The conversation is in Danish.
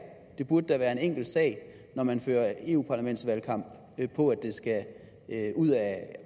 det burde da være en enkel sag når man fører europaparlamentsvalgkamp på at den skal ud af